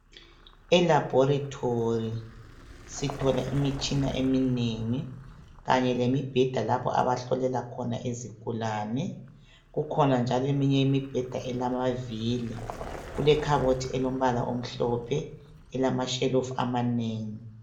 E laboratory sithola imitshina eminengi kanye lemibheda lapho abahlolela khona izigulane kukhona njalo eminye imibheda ilamavili kule khabothi alombala omhlophe elamashelufu amanengi .